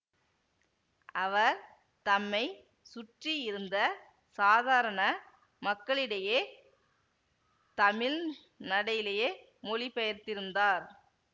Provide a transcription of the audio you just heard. அவர் தம்மை சுற்றியிருந்த சாதாரண மக்களிடைய தமிழ் நடையிலேயே மொழிபெயர்த்திருந்தார்